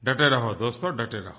डटे रहो दोस्तो डटे रहो